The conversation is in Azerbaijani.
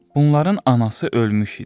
Bunların anası ölmüş idi.